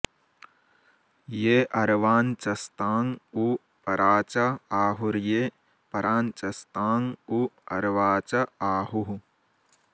ये अ॒र्वाञ्च॒स्ताँ उ॒ परा॑च आहु॒र्ये परा॑ञ्च॒स्ताँ उ॑ अ॒र्वाच॑ आहुः